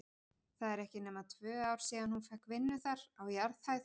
Það eru ekki nema tvö ár síðan hún fékk vinnu þar, á jarðhæð.